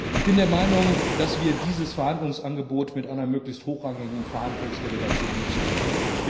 Ich bin der Meinung, dass wir dieses Verhandlungsangebot mit einer möglichst hochrangigen Verhandlungsdelegation nutzen sollten.